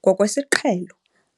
Ngokwesiqhelo,